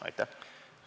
Aitäh!